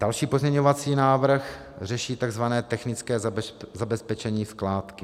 Další pozměňovací návrh řeší tzv. technické zabezpečení skládky.